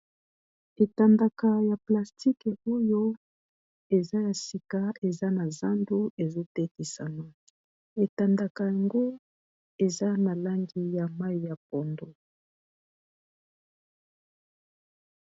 Etandaka ya plastique oyo eza ya sika eza na zando ezo tekisama, etandaka yango eza na langi ya mayi ya pondu.